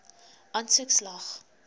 aansoek slaag